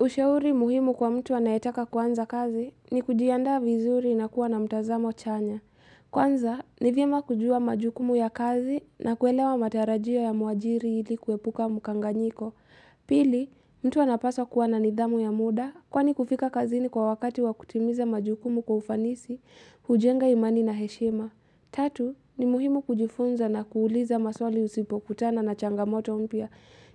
Ushauri muhimu kwa mtu anayetaka kuanza kazi ni kujiandaa vizuri na kuwa na mtanzamo chanya. Kwanza, nivyema kujua majukumu ya kazi na kuelewa matarajio ya mwajiri ili kuhepuka mkanganyiko. Pili, mtu anapasa kuwa na nidhamu ya muda kwani kufika kazini kwa wakati wa kutimiza majukumu kwa ufanisi, hujenga imani na heshima. Tatu, ni muhimu kujifunza na kuuliza maswali usipokutana na changamoto mpya